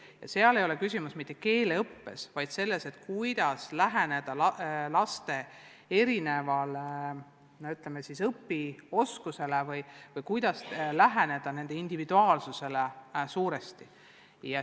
Küsimus pole mitte niivõrd keeleõppes, kuivõrd selles, kuidas läheneda laste erinevale õpioskusele või nende individuaalsusele.